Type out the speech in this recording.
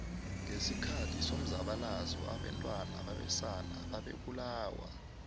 ngesikhathi somzabalazo obantwana babesana bebabulawa